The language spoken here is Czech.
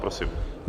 Prosím.